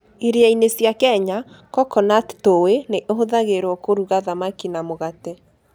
Iria-inĩ cia Kenya, coconut tui nĩ ĩhũthagĩrũo kũruga thamaki na mũgate.